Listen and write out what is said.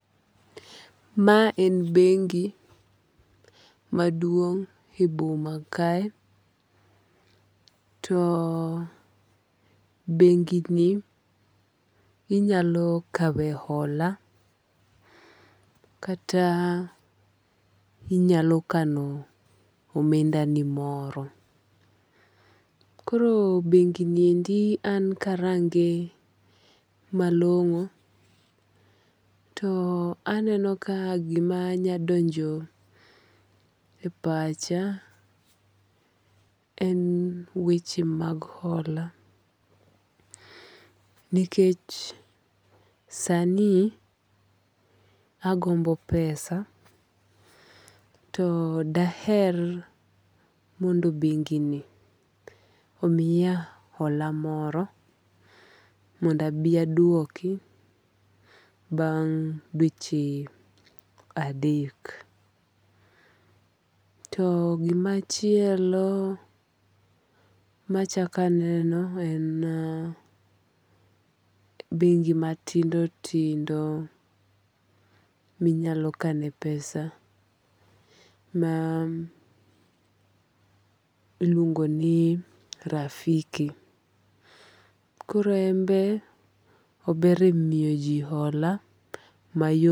Ma en bengi maduong' e boma kae. To bengi ni inyalo kawe hola kata inyalo kano omenda ni moro. Koro bengi ni endi an karange malong'o to aneno ka gima nyadonjo e pacha en weche mag hola. Nikech sani agombo pesa to daher mondo bengi ni omiya hola moro mondo abi aduoki bang' dweche adek. To gimachielo machak aneno en bengi matindo tindo minyalo kane pesa ma iluongo ni Rafiki. Koro en be ober e miyo ji hola mayot.